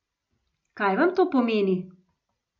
Kaj vam to pomeni?